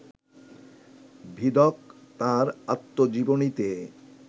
ভিদক তাঁর আত্মজীবনীতে